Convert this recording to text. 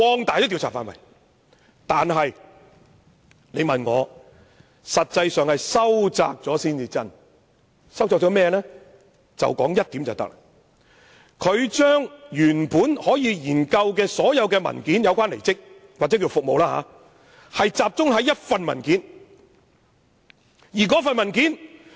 但是，我認為實際是收窄了調查範圍，他把調查範圍由原本可研究所有有關離職協議或服務協議的文件，改為只集中研究一份文件。